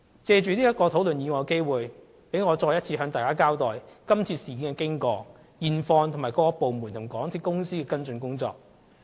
藉討論這議案的機會，讓我再次向大家交代今次事件的經過、現況，以及各部門和港鐵公司的跟進工作。